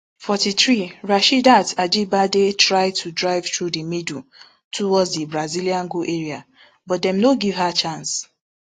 forty-three rasheedat ajibade try to drive thru di middle towards di brazilian goal area but dem no give her chance